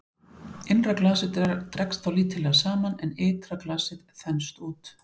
Innra glasið dregst þá lítillega saman en ytra glasið þenst út.